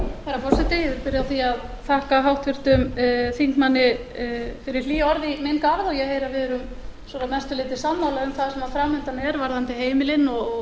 og ég heyri að við erum að mestu leyti sammála um það sem fram undan er varðandi heimilin og